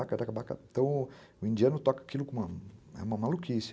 Então, o indiano toca aquilo com uma maluquice.